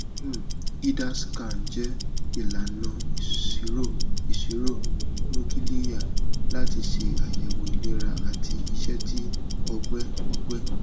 um hida scan jẹ ilana iṣiro iṣiro nukiliya lati ṣe ayẹwo ilera ati iṣẹ ti ọgbẹ ọgbẹ